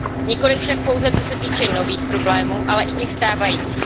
Nikoliv však pouze co se týče nových problémů, ale i těch stávajících.